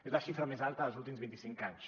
és la xifra més alta dels últims vint i cinc anys